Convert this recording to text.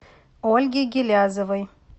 ольге гилязовой